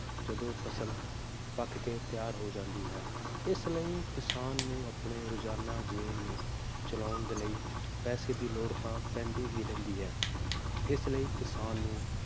ਜਦੋ ਫਸਲ ਪੱਕ ਕੇ ਤਿਆਰ ਹੋ ਜਾਂਦੀ ਹੈ ਇਸ ਲਯੀ ਕਿਸਾਨ ਨੂੰ ਆਪਣੇ ਰੋਜ਼ਾਨਾ ਜੀਵਨ ਨੂੰ ਚਲਾਉਣ ਦੇ ਲਯੀ ਪੈਸੇ ਦੀ ਲੋੜ ਤਾਂ ਪੈਂਦੀ ਹੀ ਰਹਿੰਦੀ ਹੈ ਇਸ ਲਯੀ ਕਿਸਾਨ ਨੂੰ